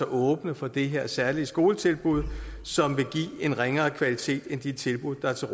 åbne for det her særlige skoletilbud som vil give en ringere kvalitet end de tilbud der er til